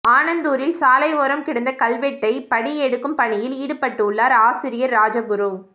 ஆனந்தூரில் சாலை ஓரம் கிடந்த கல்வெட்டை படி எடுக்கும் பணியில் ஈடுபட்டுள்ளார் ஆசிரியர் ராஜகுரு